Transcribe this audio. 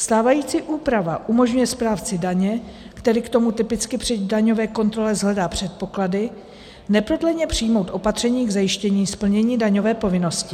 Stávající úprava umožňuje správci daně, který k tomu typicky při daňové kontrole shledá předpoklady, neprodleně přijmout opatření k zajištění splnění daňové povinnosti.